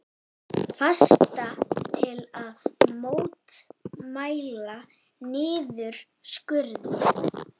Fasta til að mótmæla niðurskurði